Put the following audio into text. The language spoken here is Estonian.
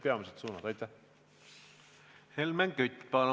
Helmen Kütt, palun!